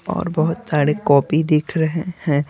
और बहुत सारे कॉपी दिख रहे हैं।